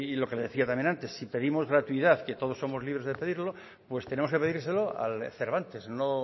lo que decía también antes si pedimos gratuidad que todos somos libre de pedirlo pues tenemos que pedírselo al cervantes no